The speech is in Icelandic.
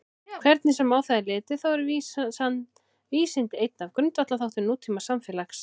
Hvernig sem á það er litið þá eru vísindi einn af grundvallarþáttum nútímasamfélags.